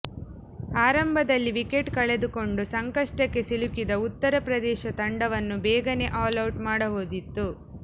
ಆರಂಭದಲ್ಲಿ ವಿಕೆಟ್ ಕಳೆದುಕೊಂಡು ಸಂಕಷ್ಟಕ್ಕೆ ಸಿಲುಕಿದ್ದ ಉತ್ತರ ಪ್ರದೇಶ ತಂಡವನ್ನು ಬೇಗನೆ ಆಲ್ಔಟ್ ಮಾಡಬಹುದಿತ್ತು